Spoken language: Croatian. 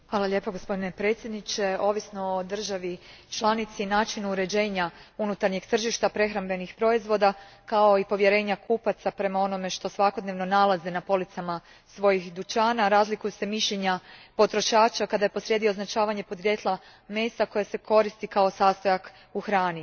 Gospodine predsjedniče, ovisno o državi članici i načinu uređenja unutarnjeg tržišta prehrambenih proizvoda, kao i povjerenja kupaca prema onome što svakodnevno nalaze na policama svojih dućana, razlikuju se mišljenja potrošača kada je posrijedi označavanje podrijetla mesa koje se koristi kao sastojak u hrani.